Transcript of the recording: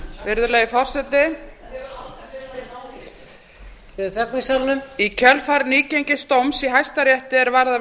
virðulegi forseti þögn í salnum í kjölfar nýgengins dóms í hæstarétti er varðar